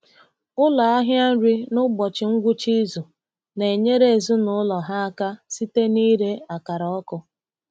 Ụlọ ahịa nri n’ụbọchị ngwụcha izu na-enyere ezinụlọ ha aka site n’ịre akara ọkụ.